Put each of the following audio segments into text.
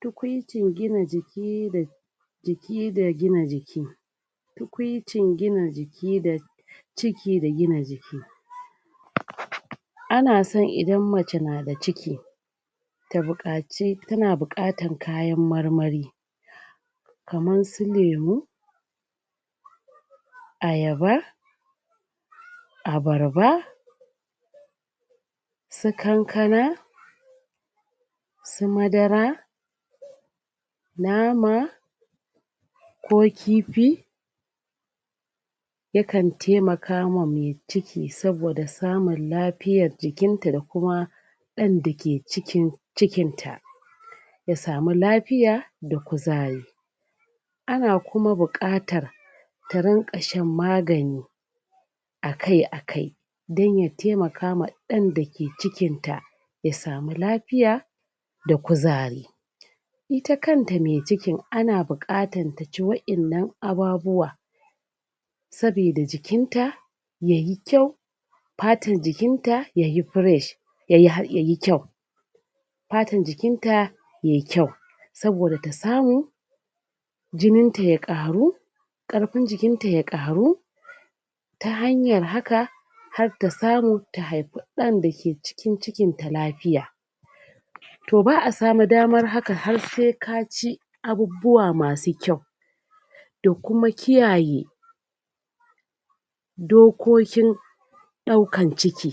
tukuicin gina jika da jiki da gina jiki tukuicin gina jiki da ciki da gina jiki ana san idan mace na da ciki tana bukatana kayan marmari kaman su lemu ayaba abarba su kankana su madara nama ko kifi yakan taimakawa mai ciki saboda samun lafiyan jikata da kuma dan dake cikin cikin ta ya samu lafiya da kuzari ana kuma bukatar ta ringa shan maganai a kai a kai dan ya taimakawa dan dake cikinta ya samu lafiya da kuzari ita kan ta mai cikin ana bukatan ta ci wa 'yan nan ababuwan sabida da jikin ta yayi kyau fatan jikin ta yayi fresh yay kyau fatan jikinta yayi kyau saboda ta samu jinin ta ya karu karfin jikinta ya karu ta hanyar haka har ta samu ta haifa d'an dake cikin cikin ta lafiya to ba'a samun damar haka har sai ka ci abubuwa masu kyau da kuma kiyaye dokokin d'aukan ciki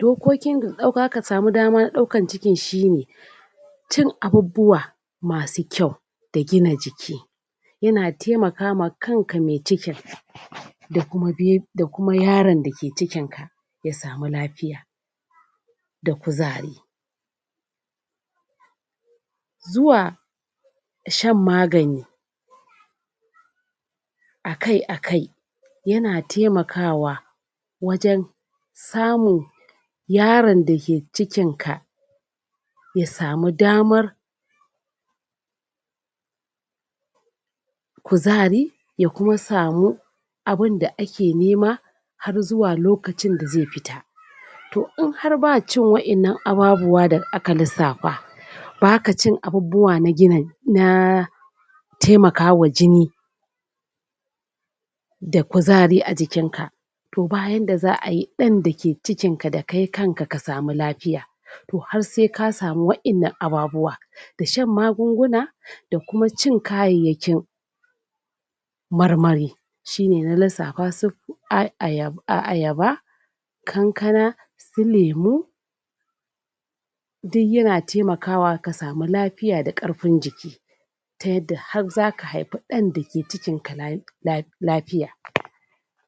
dokokin da zaka dauka damar daukan cikin sihne cin abubuwa masu kyau da gina jiki yana taimkama kan ka mai cikin da kuma yaron dake cikin ka ya samu lafiya da kuzari zuwa shan magana akai akai yana taimka wa wajen samun yaron dake cikin ka ya samu daman kuzari da ya kuma samu abunda ake nema har zuwa lokacin da zai fita to in har ba cin wa 'yan nan abubuwan da aka lissafa baka cin abubuwa na taimakawa jini da kuzari a jinka to bayanda za'a yi dan dake cikin ka da kai kanka ka samu lafiya to har sai ka samu wa 'yan nan abubuwan da shan magunguna da kuma cin kayayyakin marmari shine na lissafa su ayaba kankana su lemu duk yana taimakawa ka samu lafiya da k'arfi jiki ta yadda har zaka haifi dan dake cikin ka lafiya